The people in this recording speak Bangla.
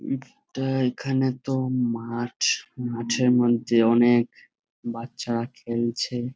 এইটা এইখানে তো মাঠ। মাঠের মধ্যে অনেক বাচ্চারা খেলছে।